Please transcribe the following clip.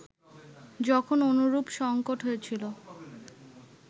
যখন অনুরূপ সঙ্কট হয়েছিল